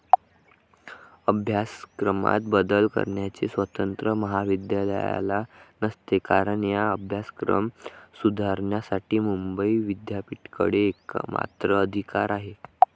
अभ्यासक्रमात बदल करण्याचे स्वातंत्र्य महाविद्यालयाला नसते कारण हा अभ्यासक्रम सुधारण्यासाठी मुंबई विद्यापिठाकडे एकमात्र अधिकार आहे.